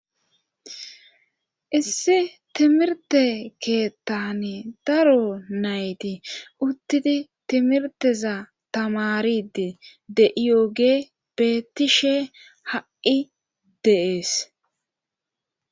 issi timirte keettane daro nayti uttidi timirteza tamaride de7iyoge beetishe ha7i deees